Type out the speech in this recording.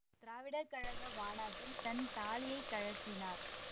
திராவிடர் கழக மாநாட்டில் தன் தாலியைக் கழற்றினார்